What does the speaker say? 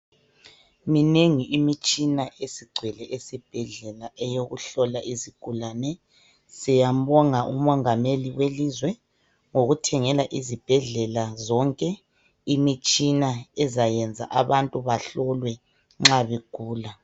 Minengi imitshina esigcwele esibhedlela eyokuhlola izigulane . Siyambonga umongameli welizwe ngokuthengela izibhedlela zonke imitshina ezayenza abantu bahlolwe nxa begula .